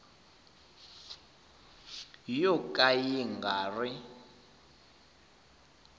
yo ka ya nga ri